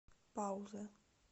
пауза